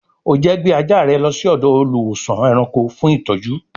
O jẹ́ gbé ajá rẹ lọ sí ọ̀dọ̀ olùwósàn-ẹranko fún ìtọ́jú